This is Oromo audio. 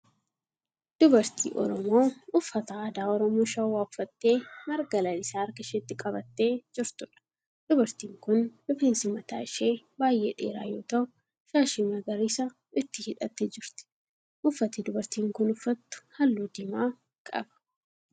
Dubartii Oromoo uffata aadaa Oromoo Shawwaa uffattee marga lalisaa harka isheetti qabattee jirtuudha. Dubartiin kun rifeensi mataa ishee baay'ee dheeraa yoo ta'u shaashii magariisa itti hidhattee jirti. Uffati dubartiin kun uffattu halluu diimaa qaba.